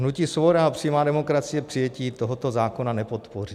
Hnutí Svoboda a přímá demokracie přijetí tohoto zákona nepodpoří.